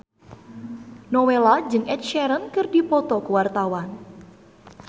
Nowela jeung Ed Sheeran keur dipoto ku wartawan